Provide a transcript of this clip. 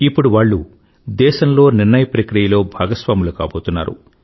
ఇప్పుడు వాళ్ళు దేశంలో నిర్ణయప్రక్రియలో భాగస్వాములు కాబోతున్నారు